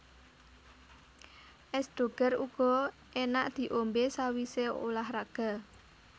Es Doger uga enak diombe sawise ulah raga